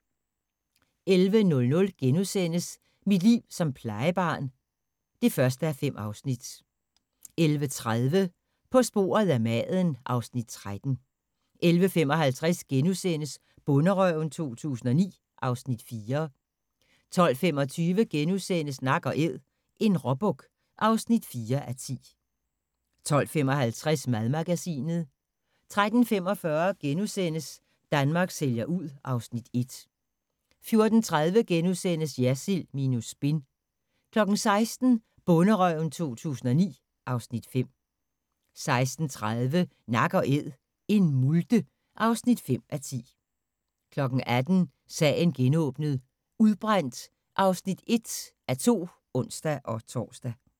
11:00: Mit liv som plejebarn (1:5)* 11:30: På sporet af maden (Afs. 13) 11:55: Bonderøven 2009 (Afs. 4)* 12:25: Nak & æd – en råbuk (4:10)* 12:55: Madmagasinet 13:45: Danmark sælger ud (Afs. 1)* 14:30: Jersild minus spin * 16:00: Bonderøven 2009 (Afs. 5) 16:30: Nak & Æd – en multe (5:10) 18:00: Sagen genåbnet: Udbrændt (1:2)(ons-tor)